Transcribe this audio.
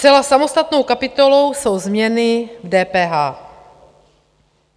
Zcela samostatnou kapitolou jsou změny v DPH.